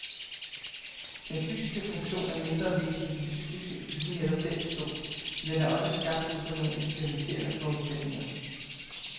Den fysiske funktion er mindre vigtig end den psykiske i lige netop den stol, men den er også skabt ud fra nogle eksperimenterende forudsætninger.